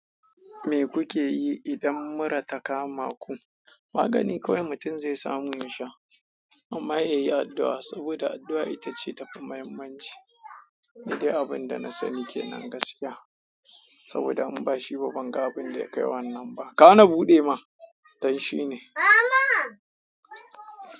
Me kuke yi idan mura ta kama ku? Magani kowanne mutum zai samu yasha amma yayi addu'a saboda addu'a ita ce tafi muhimmanci. Ni dai abin da na sani kenan gaskiya saboda in ba shi ba banga abinda ya kai wannan ba kawo ni buɗe ma, danshi ne. Mama!